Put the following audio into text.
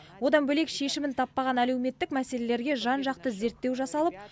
одан бөлек шешімін таппаған әлеуметтік мәселелерге жан жақты зерттеу жасалып